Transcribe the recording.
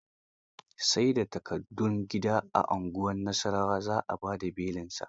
Sai da takardun gida a unguwar Nasarawa za a ba da belinsa